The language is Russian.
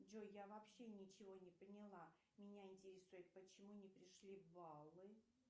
джой я вообще ничего не поняла меня интересует почему не пришли баллы